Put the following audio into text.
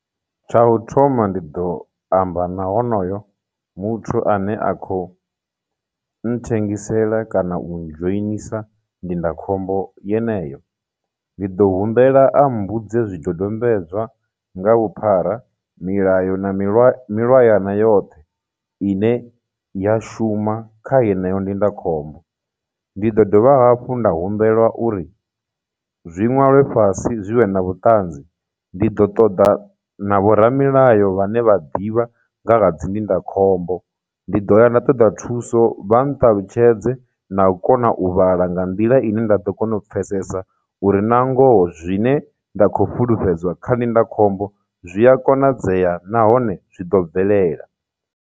Tsha u thoma ndi ḓo amba na honoyo muthu ane a khou nṱhengisela kana u ndzhoinisa ndindakhombo yeneyo, ndi ḓo humbela a mmbudze zwidodombedzwa nga vhuphara, milayo na milwa, milwayana yoṱhe ine ya shuma kha yeneyo ndindakhombo, ndi ḓo dovha hafhu nda humbela uri zwi ṅwalwe fhasi zwi vhe na vhuṱanzi, ndi ḓo ṱoḓa na vhoramilayo vhane vha ḓivha nga ha dzi ndindakhombo, ndi do ya nda ṱoḓa thuso vha nṱalutshedze na kona u vhala nga nḓila ine nda ḓo kona u pfesesa uri na ngoho zwine nda khou fhulufhedzea kha ndindakhombo zwi a konadzea nahone zwi ḓo bvelela.